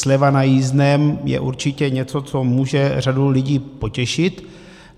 Sleva na jízdném je určitě něco, co může řadu lidí potěšit.